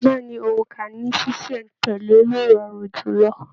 Bẹ̀ẹ́ni, óńka ní ṣiṣẹ̀ n tẹ̀lé ló rọrùn jùlọ.